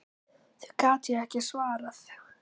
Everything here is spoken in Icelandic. Því gat ég ekki svarað.